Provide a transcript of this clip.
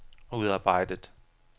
udarbejdet